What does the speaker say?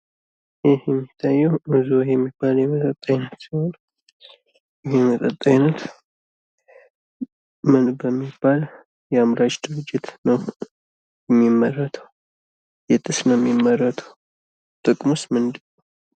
ይህ የሚታየው ኡዞ የሚባል የመጠጥ አይነት ሲሆን ይህ የመጠጥ አይነት ምን በሚባል የአምራች ድርጅት ነው የሚመረተው? የትስ ነው የሚመረተው ጥቅሙስ ምንድነው?